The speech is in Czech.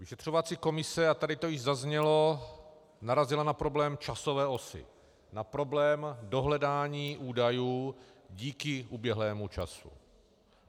Vyšetřovací komise, a tady to již zaznělo, narazila na problém časové osy, na problém dohledání údajů díky uběhlému času.